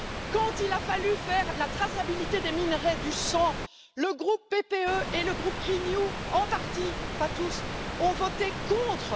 Quand il a fallu établir la traçabilité des minerais du sang, le groupe PPE et le groupe Renew en partie, pas tous ont voté contre!